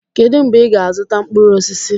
kedu mgbe ị ga-azụta mkpụrụ osisi?